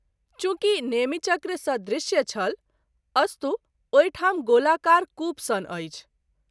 चुँकि नेमि चक्र सदृश्य छल ,अस्तु ओहि ठाम गोलाकार कूप सन अछि।